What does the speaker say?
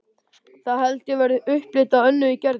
Það held ég verði upplit á Önnu í Gerði.